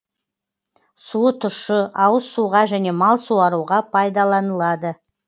суы тұщы ауыз суға және мал суаруға пайдаланылады